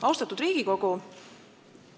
Austatud Riigikogu!